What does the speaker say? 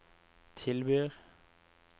tilbyr